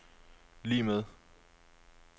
lig med